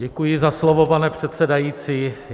Děkuji za slovo, pane předsedající.